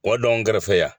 Wa dɔngɛrɛfɛ